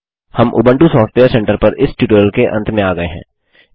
हम Ubuntu software centre पर इस ट्यूटोरियल के अंत में आ गये हैं